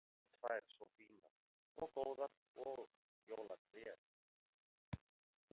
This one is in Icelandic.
Dæturnar tvær svo fínar og góðar og jólatréð!